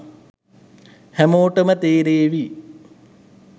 හැමෝටම තේරේවි